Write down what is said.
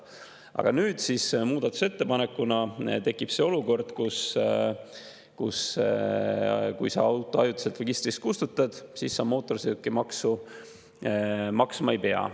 Aga nüüd muudatusettepaneku kohaselt tekib olukord, et kui sa auto ajutiselt registrist kustutad, siis sa mootorsõidukimaksu maksma ei pea.